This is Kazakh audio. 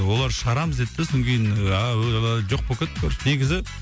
олар шығарамыз деді де содан кейін жоқ болып кетті короче негізі